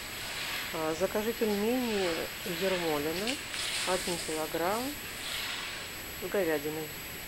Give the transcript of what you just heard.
закажи пельмени ермолино один килограмм с говядиной